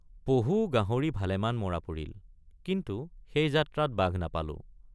পহু গাহৰি ভালেমান মৰা পৰিল কিন্তু সেই যাত্ৰাত বাঘ নাপালোঁ।